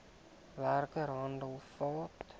werker hande vat